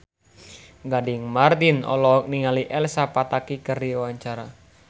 Gading Marten olohok ningali Elsa Pataky keur diwawancara